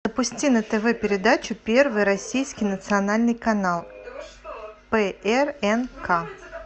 запусти на тв передачу первый российский национальный канал прнк